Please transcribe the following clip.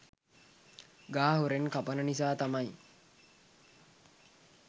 ගහ හොරෙන් කපන නිසා තමයි